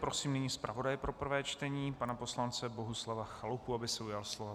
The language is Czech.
Prosím nyní zpravodaje pro prvé čtení pana poslance Bohuslava Chalupu, aby se ujal slova.